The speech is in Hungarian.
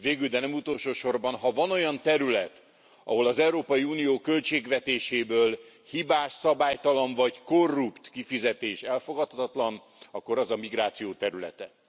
Végül, de nem utolsó sorban, ha van olyan terület, ahol az Európai Unió költségvetéséből hibás, szabálytalan vagy korrupt kifizetés elfogadhatatlan, akkor az a migráció területe.